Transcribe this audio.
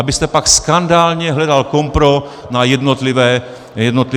- abyste pak skandálně hledal kompro na jednotlivé kandidáty.